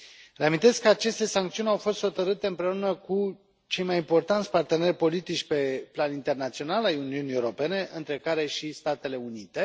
Reamintesc că aceste sancțiuni au fost hotărâte împreună cu cei mai importanți parteneri politici pe plan internațional ai Uniunii Europene, între care și Statele Unite.